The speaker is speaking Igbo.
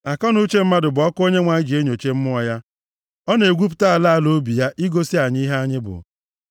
Akọnuche mmadụ bụ ọkụ Onyenwe anyị ji enyocha mmụọ ya, ọ na-egwupụta ala ala obi ya, igosi anyị ihe anyị bụ.